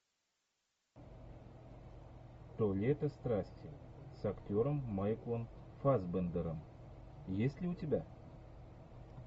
то лето страсти с актером майклом фассбендером есть ли у тебя